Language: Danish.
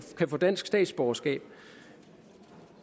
kan få dansk statsborgerskab